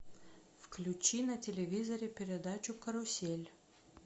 включи на телевизоре передачу карусель